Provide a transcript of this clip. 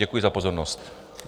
Děkuji za pozornost.